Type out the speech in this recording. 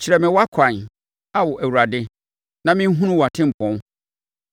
Kyerɛ me wʼakwan, Ao Awurade, na me nhunu wʼatempɔn.